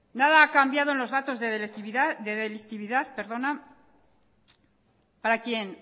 nada ha cambiado en los datos de delictividad para quien